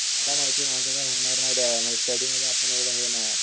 काय माहिती माझं काय होणार नाही दया मी स्टडीमध्ये आपण एव्हडा हे नाहीये